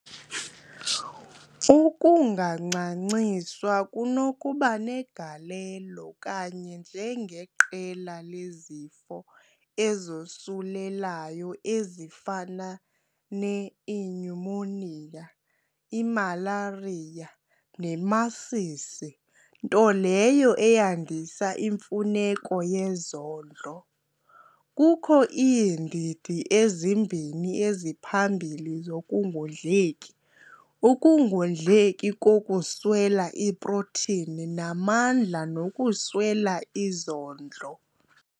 Ukungancanciswa kunokuba negalelo, kanye njengeqela lezifo ezosulelayo ezifana- ], ne inyumoniya, imalariya nemasisi nto leyo eyandisa imfuneko yezondlo. Kukho iindidi ezimbini eziphambili zokungondleki- ukungondleki kokuswela iprotini namandla nokuswela izondlo.